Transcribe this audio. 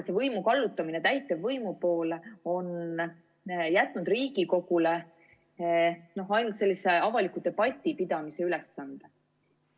Võimu kallutamine täitevvõimu poole on jätnud Riigikogule ainult avaliku debati pidamise ülesande.